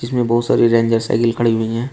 इसमें बहुत सारी रेंजर साइकल खड़ी हुई है।